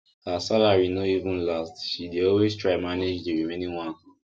her salary no even last she dey always try manage the remaining one